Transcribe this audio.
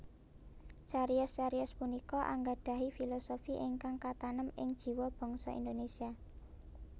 Cariyos cariyos punika anggadhahi filosofi ingkang katanem ing jiwa bangsa Indonésia